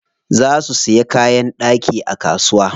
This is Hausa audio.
Za su siya kayan ɗaki a kasuwa.